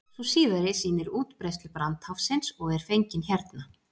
Sú síðari sýnir útbreiðslu brandháfsins og er fengin hérna.